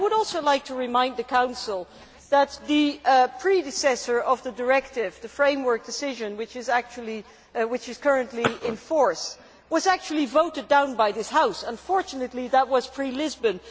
I would also like to remind the Council that the predecessor of the directive, the framework decision which is currently in force, was actually voted down by this House. Unfortunately, that was pre Lisbon.